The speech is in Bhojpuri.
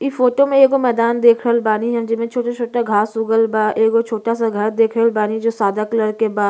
इ फोटो में एगो मैंदान देख रहल बानी जोन जेमे छोटा-छोटा घास उगल बा। एगो छोटा सा घर देख रहल बानी जो सादा कलर के बा।